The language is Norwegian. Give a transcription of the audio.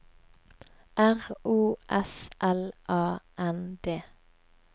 R O S L A N D